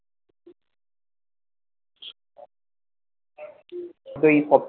ওই হবে